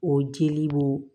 O jeli bo